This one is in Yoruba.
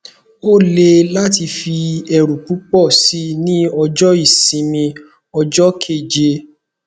o le lati fi eru pupo si ni ojo isimi ojo keje